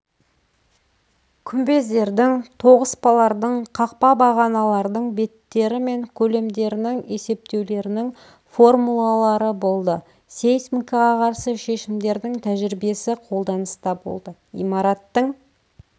күмбездердің тоғыспалардың қақпа бағаналардың беттері мен көлемдерінің есептеулерінің формулалары болды сейсмикаға қарсы шешімдердің тәжірибесі қолданыста болды имараттың